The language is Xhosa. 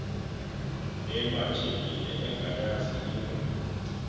ematshekile engayazi into